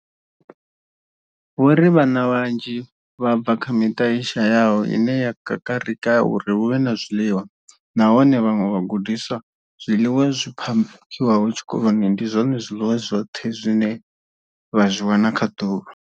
Vho ri vhana vhanzhi vha bva kha miṱa i shayaho ine ya kakarika uri hu vhe na zwiḽiwa, nahone kha vhaṅwe vhagudiswa, zwiḽiwa zwi phakhiwaho tshikoloni ndi zwone zwiḽiwa zwi zwoṱhe zwine vha zwi wana kha ḓuvha.